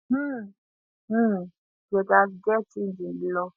um um dia gatz get change in di law